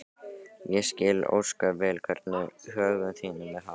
Ég skil ósköp vel hvernig högum þínum er háttað.